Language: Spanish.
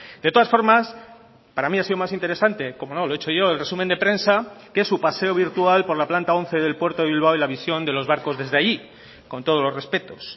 de todas formas para mí ha sido más interesante como no lo he hecho yo el resumen de prensa que su paseo virtual por la planta once del puerto de bilbao y la visión de los barcos desde ahí con todos los respetos